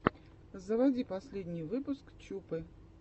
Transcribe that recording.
заводи последний выпуск чупы